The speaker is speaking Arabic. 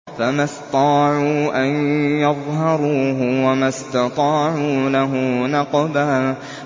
فَمَا اسْطَاعُوا أَن يَظْهَرُوهُ وَمَا اسْتَطَاعُوا لَهُ نَقْبًا